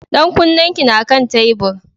Ɗan kunnen ki na kan tebur.